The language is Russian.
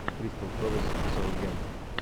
кристал пэлас саутгемптон